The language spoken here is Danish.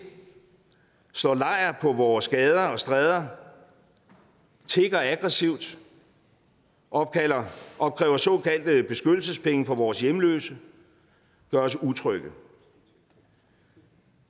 slår lejr på vores gader og stræder tigger aggressivt og opkræver såkaldte beskyttelsespenge fra vores hjemløse gør os utrygge